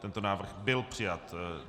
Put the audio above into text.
Tento návrh byl přijat.